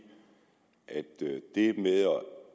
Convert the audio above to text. at det med at